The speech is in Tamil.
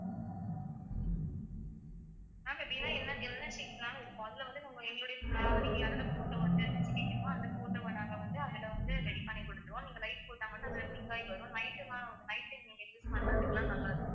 ma'am எப்படினா என்ன என்ன shape னாலும் இருக்கும் அதுல வந்து நம்ம எங்களுடைய நீங்க யாரோட photo வந்து கேக்கணுமோ அந்த photo வ நாங்க வந்து அதுல வந்து ready பண்ணி கொடுத்துருவோம் நீங்க light போட்டா மட்டும் அதுல blink ஆகி வரும் night time அ night time நீங்க use பண்றதுக்குலாம் நல்லா இருக்கும்